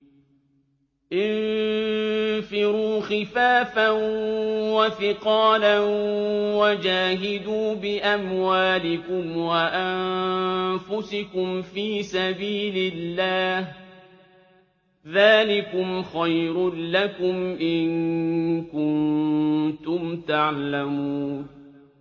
انفِرُوا خِفَافًا وَثِقَالًا وَجَاهِدُوا بِأَمْوَالِكُمْ وَأَنفُسِكُمْ فِي سَبِيلِ اللَّهِ ۚ ذَٰلِكُمْ خَيْرٌ لَّكُمْ إِن كُنتُمْ تَعْلَمُونَ